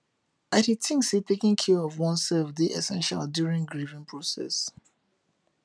i dey think say taking care of oneself dey essential during grieving process